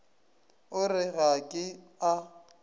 o re ga ke a